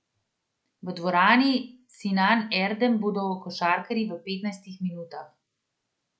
V dvorani Sinan Erdem bodo košarkarji v petnajstih minutah.